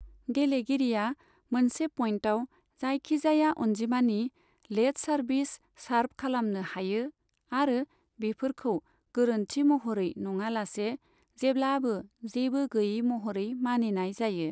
गेलेगिरिया मोनसे पइन्टआव जायखिजाया अनजिमानि लेट सार्भिस सार्भ खालामनो हायो आरो बेफोरखौ गोरोन्थि महरै नङालासे जेब्लाबो जेबो गैयै महरै मानिनाय जायो।